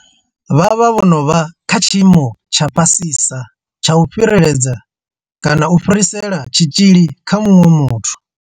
Vha vha vho no vha kha tshiimo tsha fhasisa tsha u fhireledza kana u fhirisela tshitzhili kha muṅwe muthu.